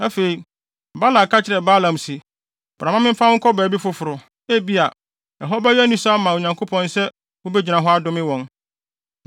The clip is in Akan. Afei, Balak ka kyerɛɛ Balaam se, “Bra mma memfa wo nkɔ baabi foforo. Ebia, ɛhɔ bɛyɛ anisɔ ama Onyankopɔn sɛ wubegyina hɔ adome wɔn.”